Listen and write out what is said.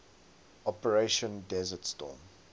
operation desert storm